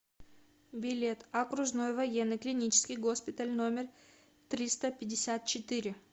билет окружной военный клинический госпиталь номер триста пятьдесят четыре